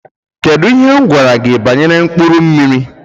Kedụ ihe gwara gị banyere mkpụrụ mmiri?